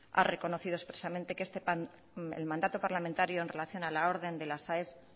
ha reconocido expresamente que el mandato parlamentario en relación a la orden de las aes